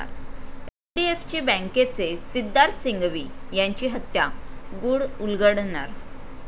एचडीएफची बँकेचे सिद्धार्थ सिंघवी यांची हत्या, गुढ उलगडणार?